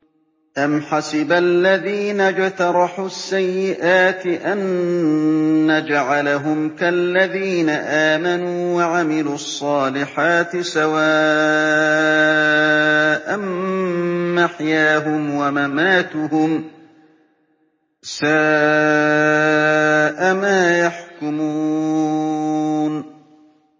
أَمْ حَسِبَ الَّذِينَ اجْتَرَحُوا السَّيِّئَاتِ أَن نَّجْعَلَهُمْ كَالَّذِينَ آمَنُوا وَعَمِلُوا الصَّالِحَاتِ سَوَاءً مَّحْيَاهُمْ وَمَمَاتُهُمْ ۚ سَاءَ مَا يَحْكُمُونَ